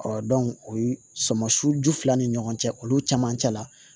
o ye sɔmasun ju fila ni ɲɔgɔn cɛ olu caman cɛ la